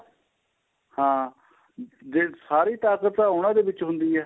ਹਾਂ ਜੇ ਸਾਰੀ ਤਾਕਤ ਤਾਂ ਉਹਨਾ ਦੇ ਵਿੱਚ ਹੁੰਦੀ ਏ